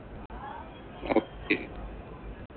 Okay.